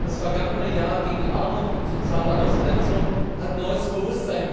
Das vergangene Jahr gegen Armut und soziale Ausgrenzung hat neues Bewusstsein